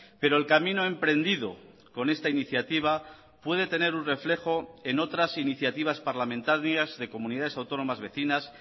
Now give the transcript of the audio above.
pero el camino emprendido con esta iniciativa puede tener un reflejo en otras iniciativas parlamentarias de comunidades autónomas vecinas